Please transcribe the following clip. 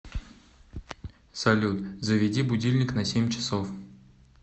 салют заведи будильник на семь часов